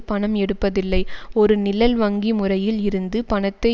பணம் எடுப்பதில்லை ஒரு நிழல் வங்கி முறையில் இருந்து பணத்தை